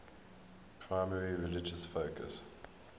primarily religious focus